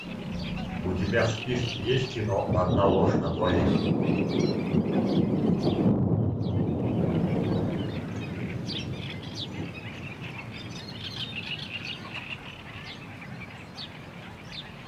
у тебя в списке есть кино одна ложь на двоих